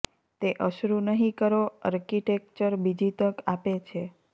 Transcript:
તે અશ્રુ નહીં કરો આર્કીટેક્ચર બીજી તક આપે છે